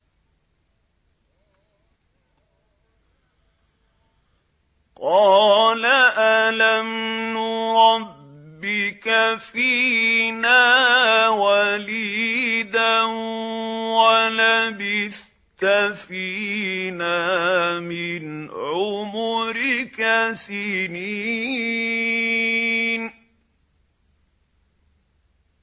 قَالَ أَلَمْ نُرَبِّكَ فِينَا وَلِيدًا وَلَبِثْتَ فِينَا مِنْ عُمُرِكَ سِنِينَ